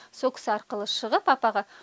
сол кісі арқылы шығып апаға